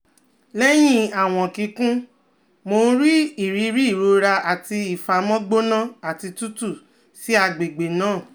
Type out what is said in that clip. Lẹhin awọn kikun, Mo n ni iriri irora ati ifamọ gbona ati tutu si agbegbe naa